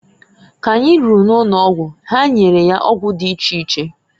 K'anyi ruru n'ụnọgwụ ha nyere ya ọgwụ dị iche iche.